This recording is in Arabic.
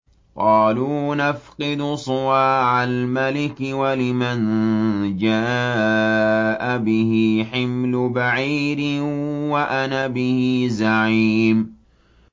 قَالُوا نَفْقِدُ صُوَاعَ الْمَلِكِ وَلِمَن جَاءَ بِهِ حِمْلُ بَعِيرٍ وَأَنَا بِهِ زَعِيمٌ